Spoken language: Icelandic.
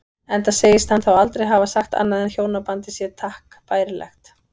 Enda segist hann þá aldrei hafa sagt annað en hjónabandið sé takk bærilegt.